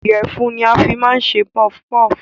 Ìyẹ̀fun ni a máa ń fi ń ṣe pọfpọf